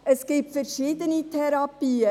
Es gibt verschiedene Therapien: